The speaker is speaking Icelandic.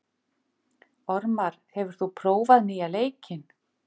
Ormar, hefur þú prófað nýja leikinn?